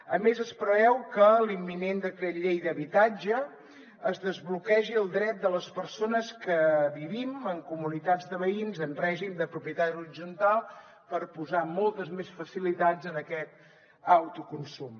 a més es preveu que a l’imminent decret llei d’habitatge es desbloquegi el dret de les persones que vivim en comunitats de veïns en règim de propietat horitzontal per posar moltes més facilitats en aquest autoconsum